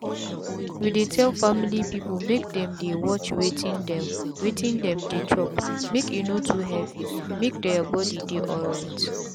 we dey tell family people make them dey watch wetin them wetin them dey chopmake e no too heavymake their body dey alright.